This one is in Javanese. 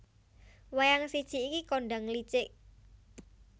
Wayang siji iki kondhang licik